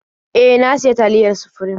E, na sayi taliyar Sufrim.